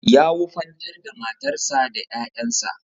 Ya wufantar da matarsa da ƴaƴansa.